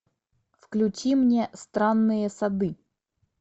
включи мне странные сады